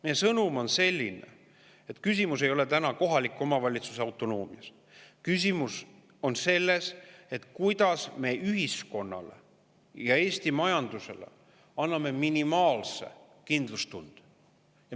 Meie sõnum on see, et küsimus ei ole täna kohaliku omavalitsuse autonoomias, vaid küsimus on selles, kuidas me anname Eesti ühiskonnale ja majandusele minimaalse kindlustunde.